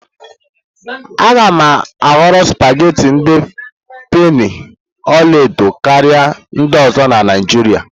A ga-ahọrọ supagetii ndi penii ọla edo karịa ndị ọzọ na Naijiria.